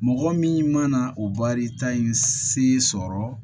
Mɔgɔ min mana o baarita in se sɔrɔ